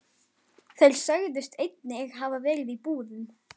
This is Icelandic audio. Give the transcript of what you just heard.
Þeir sögðust einnig hafa verið í búðum.